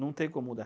Não tem como mudar.